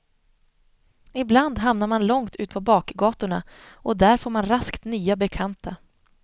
Ibland hamnar man långt ut på bakgatorna och där får man raskt nya bekanta.